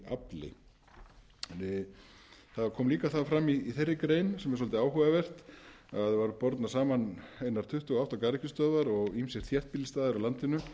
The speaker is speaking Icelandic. megavöttum í afli það kom líka fram í þeirri grein sem er svolítið áhugavert að bornar voru saman einar tuttugu og átta garðyrkjustöðvar og ýmsir þéttbýlisstaðir á landinu